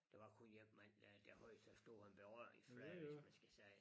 Der var kun én mand der der havde så stor en berøringsflade hvis man skal sige